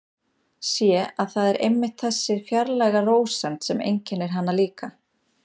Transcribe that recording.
Sé að það er einmitt þessi fjarlæga rósemd sem einkennir hana líka.